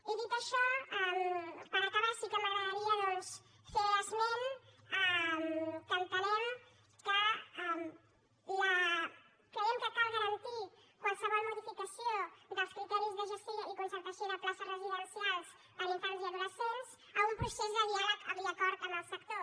i dit això per acabar sí que m’agradaria doncs fer esment que entenem que creiem que cal garantir qualsevol modificació dels criteris de gestió i concertació de places residencials per a infants i adolescents a un procés de diàleg i acord amb el sector